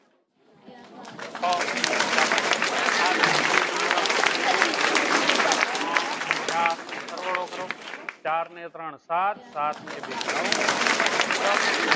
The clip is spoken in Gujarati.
છ ચાલો હવે આ રેખા ખંડ ને number આપો એક બે ત્રણ ચાર સરવાળો કરો ચાર ને ત્રણ સાત સાત ને બે નવ નવ ને એક દસ